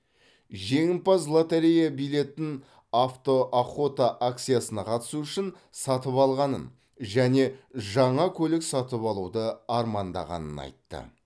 жеңімпаз лоторея билетін автоохота акциясына қатысу үшін сатып алғанын және жаңа көлік сатып алуды армандағанын айтты